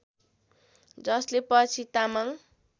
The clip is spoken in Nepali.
जसले पछि तामाङ